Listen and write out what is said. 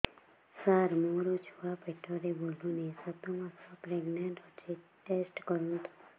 ସାର ମୋର ଛୁଆ ପେଟରେ ବୁଲୁନି ସାତ ମାସ ପ୍ରେଗନାଂଟ ଅଛି ଟେଷ୍ଟ କରନ୍ତୁ